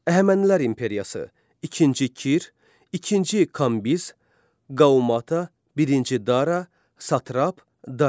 Əhəmənilər imperiyası, ikinci Kir, ikinci Kambiz, Qaumata, birinci Dara, Satrap, Darik.